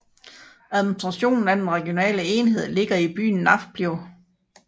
Administrationen af den regionale enhed ligger i byen Nafplio